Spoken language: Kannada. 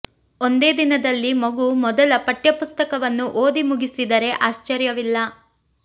ಒಂದೇ ದಿನದಲ್ಲಿ ಮಗು ಮೊದಲ ಪಠ್ಯ ಪುಸ್ತಕವನ್ನು ಓದಿ ಮುಗಿಸಿದರೆ ಆಶ್ಚರ್ಯವಿಲ್ಲ